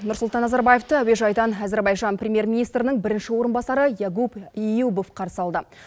нұрсұлтан назарбаевты әуежайдан әзербайжан премьер министрінің бірінші орынбасары ягуб эюбов қарсы алды